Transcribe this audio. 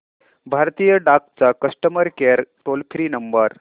भारतीय डाक चा customer care toll free number